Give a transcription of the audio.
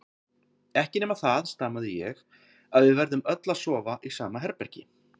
Ekki nema það, stamaði ég, að við verðum öll að sofa í sama herbergi.